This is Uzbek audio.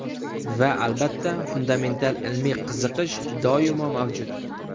Va albatta, fundamental ilmiy qiziqish doimo mavjud.